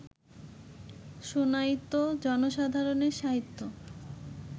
শুনাইত জনসাধারণের সাহিত্য